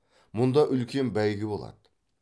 мұнда үлкен бәйгі болады